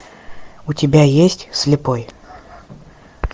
у тебя есть слепой